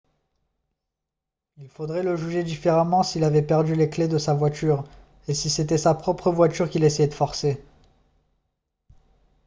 il faudrait le juger différemment s'il avait perdu les clés de sa voiture et si c'était sa propre voiture qu'il essayait de forcer